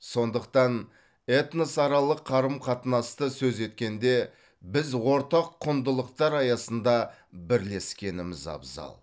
сондықтан этносаралық қарым қатынасты сөз еткенде біз ортақ құндылықтар аясында бірлескеніміз абзал